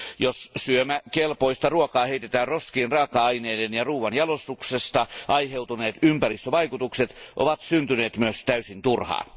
Jos syömäkelpoista ruokaa heitetään roskiin, raaka aineiden ja ruoanjalostuksesta aiheutuneet ympäristövaikutukset ovat syntyneet myös täysin turhaan.